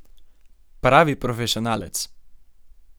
Pravi profesionalec!